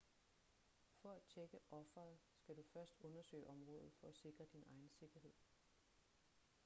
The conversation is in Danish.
for at tjekke offeret skal du først undersøge området for at sikre din egen sikkerhed